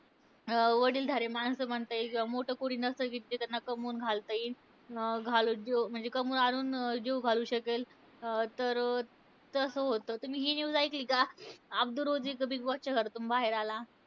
अं वडीलधारे माणसं म्हणता येईल. किंवा मोठं कोणी नसतं कि जे कमावून घालता येईल. अं घालून जेवू म्हणजे कमावून आणून अं जेवू घालू शकेल. अं तर तसं होतं. तुम्ही हि news ऐकली का? अब्दू रोझी बिगबॉसच्या घरातून बाहेर आला.